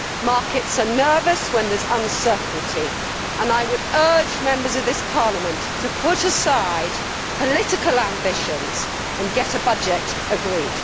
markets are nervous when there is uncertainty, and I would urge Members of this Parliament to put aside political ambitions and get a budget agreed.